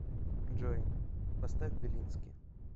джой поставь белински